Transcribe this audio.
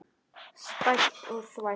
Spæld og þvæld.